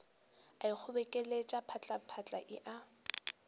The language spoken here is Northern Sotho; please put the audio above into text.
a ikgobokeletša phatlaphatla e a